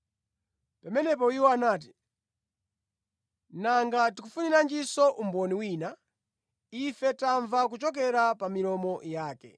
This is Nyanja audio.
Pamenepo iwo anati, “Nanga tikufuniranjinso umboni wina? Ife tamva kuchokera pa milomo yake.”